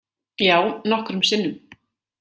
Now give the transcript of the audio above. Já, nokkrum sinnum.